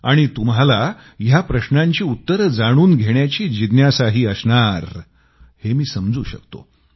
आणि तुम्हाला या प्रश्नांची उत्तरं जाणून घेण्याची जिज्ञासाही असणार हे मी समजू शकतो